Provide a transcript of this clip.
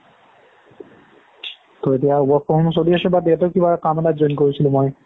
ত' এতিয়া work from চলি আছে but ইয়াতো কিবা কাম এটাত join কৰিছোঁ মই